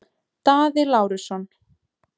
Daði Lárusson